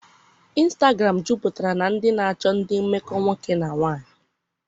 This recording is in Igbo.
ịnstagram juputara na ndị na-achọ ndị mmekọ nwoke na nwanyị.